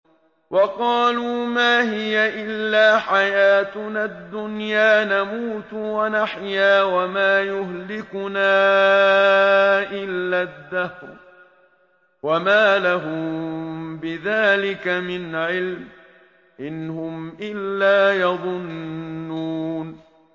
وَقَالُوا مَا هِيَ إِلَّا حَيَاتُنَا الدُّنْيَا نَمُوتُ وَنَحْيَا وَمَا يُهْلِكُنَا إِلَّا الدَّهْرُ ۚ وَمَا لَهُم بِذَٰلِكَ مِنْ عِلْمٍ ۖ إِنْ هُمْ إِلَّا يَظُنُّونَ